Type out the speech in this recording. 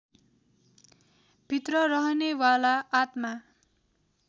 भित्र रहनेवाला आत्मा